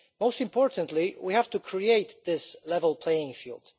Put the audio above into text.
Most importantly, we have to create this level playing field.